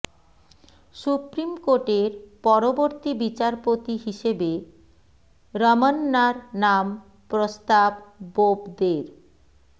supreme কোর্টের পরবর্তী বিচারপতি হিসেবে রমন্নার নাম প্রস্তাব বোবদের